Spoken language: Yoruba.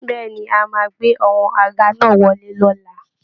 Bẹ́ẹ̀ ni, a máa gbé àwọn àga náà wọlé lọ́la